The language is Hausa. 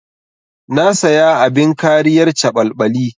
Na saya abin kariyar caɓalɓali.